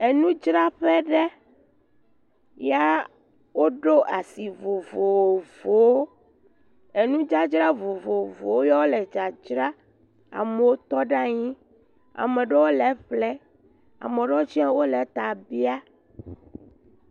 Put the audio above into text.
Enudzraƒe ɖe. ya woɖo asi vovovowo. Enudzadzra vovovowo yɔ le dzadzra. Amewo tɔ ɖe anyi. Ame ɖewo le eƒlee. Ame ɖewo tsia wole ta bia.